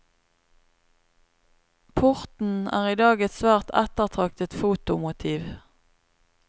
Porten er i dag et svært ettertraktet fotomotiv.